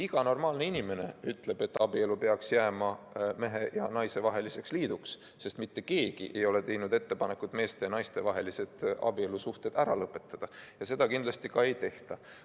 Iga normaalne inimene ütleb, et abielu peaks jääma mehe ja naise vaheliseks liiduks, sest mitte keegi ei ole teinud ettepanekut meeste ja naiste vahelised abielusuhted ära lõpetada ja seda kindlasti ei tehta.